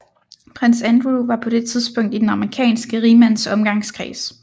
Prins Andrew var på det tidspunkt i den amerikanske rigmands omgangskreds